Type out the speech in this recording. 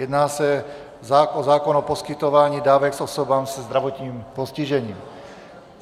Jedná se o zákon o poskytování dávek osobám se zdravotním postižením.